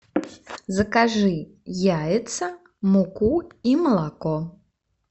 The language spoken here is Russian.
закажи яйца муку и молоко